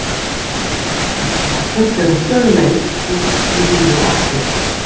Þegar veiran er endurvakin fer hún sömu leið út í húðina aftur.